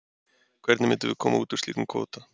Hvernig myndum við koma út úr slíkum kvóta?